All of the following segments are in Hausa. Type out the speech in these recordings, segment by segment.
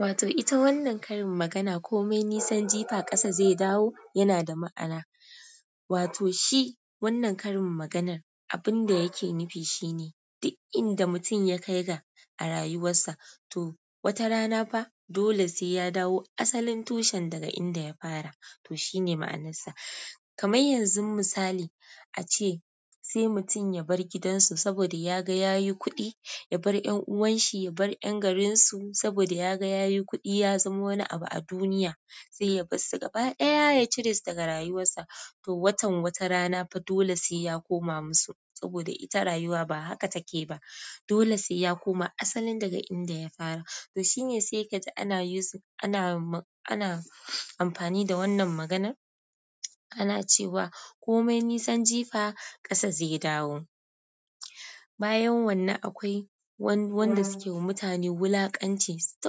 Wato ita wannan karin magana komai nisan jifa ƙasa zai dawo yana da ma'ana. Wato shi wannan karin maganar abun da yake nufi shine duk inda mutum ya kai ga a rayuwarsa to wata rana fa dole sai ya dawo asalin tushen daga inda ya fara. To shine ma'anarsa. Kamar yanzu misali ace sai mutum ya bar gidan su saboda ya ga ya yi kuɗi, ya bar ƴan'uwan shi, ya bar ƴan garin su saboda ya ga ya yi kuɗi ya zama wani abu a duniya, sai ya bar su gaba ɗaya ya cire su daga rayuwarsa. To watan wata rana fa dole sai ya koma musu saboda ita rayuwa ba haka take ba. Dole sai ya koma asalin daga inda ya fara. To shine sai ka ji ana amfani da wannan maganar. Ana cewa komai nisan jifa ƙasa zai dawo. Bayan wannan akwai wanda suke wa mutane wulaƙance. Suyi ta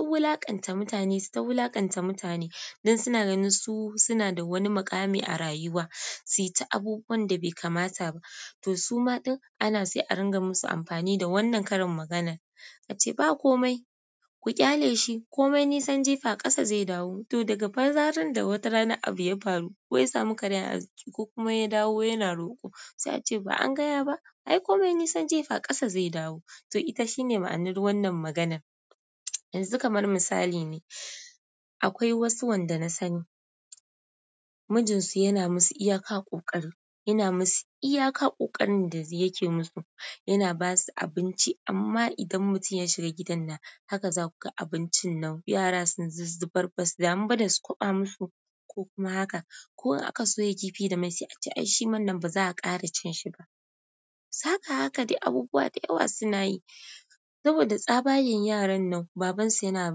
wulaƙanta mutane, su ta wulaƙanta mutane, don su suna ganin suna da wani abu a rayuwa suyi ta yin abun da be kamata ba to su ma ɗin ana sai a ringa musu amfani da wannan karin magana. Ace ba komai ku ƙyale shi komai nisan jifa ƙasa zai dawo, to daga fa zarar wata rana abu ya faru ko kuma ya samu karayar arziki ko kuma ya dawo yana roƙo sai ace ba an gaya ba? Ai komai nisan jifa ƙasa zai dawo. To ita shine ma'anar wannan magana. Yanzu kamar misali ne, akwai wasu wanda na sani mijin su yana musu iyaka ƙoƙari yana musu iyaka ƙoƙarin da yake musu. Yana basu abinci amma idan mutum ya shiga gidan nan haka za kuga abincin nan yara sun zuzzubar ba su damu ba da su kwaɓa musu ko kuma haka. Ko in aka soya kifi da mai sai a ce ai shi wan nan ba za a ƙara cin shi ba. Haka haka dai abubuwa da yawa suna yi saboda tsabayen yaran nan baban su yana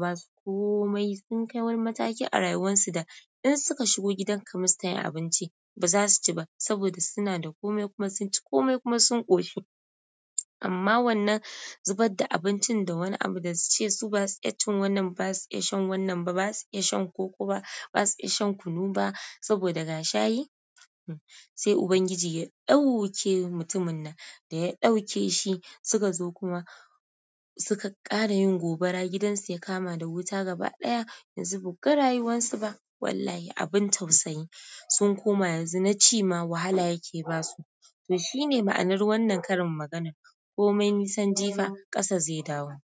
ba su komai sun kai wani mataki a rayuwan su da in suka shigo gidan ka kai musu tayin abinci ba za su ci ba saboda suna da komai kuma sun ci komai kuma sun ƙoshi. Amma wannan zubar da abincin da wani abu suce baza su iya cin wannan ba, baza su iya shan wannan ba, baza su iya shan koko ba, baza su iya shan kunu ba, saboda ga shayi sai Ubangiji ya ɗauke mutumin nan da ya ɗauke shi suka zo kuma suka ƙara yin gobara gidan su ya kama da wuta gaba ɗaya yanzu ba ku ga rayuwan su ba. Wallahi abin tausayi. Sun koma yanzu na ci ma wahala yake ba su. To shine ma'anar wannan karin magana. Komai nisan jifa ƙasa zai dawo.